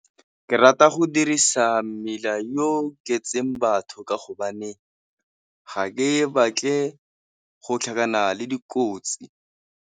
Ke rata go dirisa mmila yo o ke itseng batho ka hobane ga ke batle go tlhakana le dikotsi.